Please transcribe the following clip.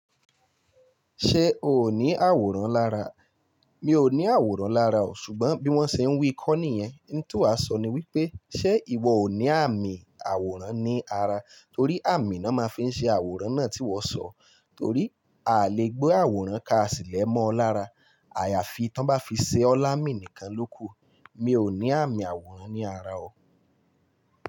Ṣé o ò ní àwòrán lára? Mi ò ní àwòrán lára o, ṣùgbọ́n bí wọ́n ṣe ń wí kọ́ ni yẹn. N ti wà sọ ni wípé ṣé ìwọ ò ní àmì àwòrán ní ara? Torí àmì ná máa ń fi ṣe àwòrán náà tí iwọ sọ. Torí à lè gbé àwòrán káàsì lẹ́mọ́ lára. Àyàfi tán bá fi ṣe ọ́ láàmì nìkan lóku. Mi ò ní àmì àwòrán ní ara o.